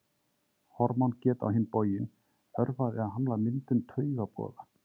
Hormón geta á hinn bóginn örvað eða hamlað myndun taugaboða.